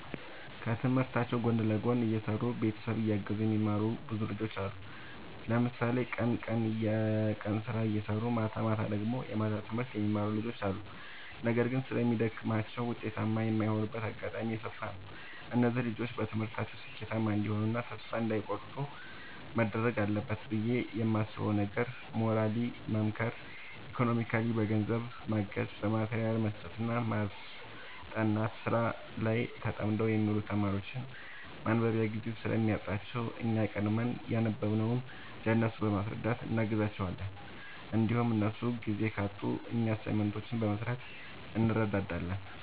ከትምህርታቸው ጎን ለጎን እየሰሩ ቤተሰብ እያገዙ የሚማሩ ብዙ ልጆች አሉ። ለምሳሌ ቀን ቀን የቀን ስራ እየሰሩ ማታማታ ደግሞ የማታ ትምህርት የሚማሩ ልጆች አሉ። ነገር ግን ስለሚደግማቸው ውጤታማ የማይሆኑበት አጋጣሚ የሰፋ ነው። እነዚህ ልጆች በትምህርታቸው ስኬታማ እንዲሆኑ እና ተስፋ እንዳይ ቆርጡ መደረግ አለበት ብዬ የማስበው ነገር ሞራሊ መምከር ኢኮኖሚካሊ በገንዘብ ማገዝ በማቴሪያል መስጠትና ማስጠናት። ስራ ላይ ተጠምደው የሚውሉ ተማሪዎች ማንበቢያ ጊዜ ስለሚያጥራቸው እኛ ቀድመን ያነበብንውን ለእነሱ በማስረዳት እናግዛቸዋለን እንዲሁም እነሱ ጊዜ ካጡ እኛ አሳይመንቶችን በመስራት እንረዳዳለን